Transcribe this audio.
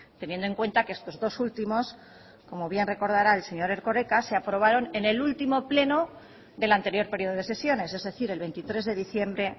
teniendo en cuenta que estos dos últimos como bien recordará el señor erkoreka se aprobaron en el último pleno del anterior periodo de sesiones es decir el veintitrés de diciembre